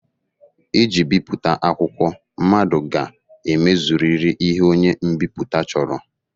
Iji bipụta akwụkwọ, mmadụ ga-emezurịrị ihe onye mbipụta chọrọ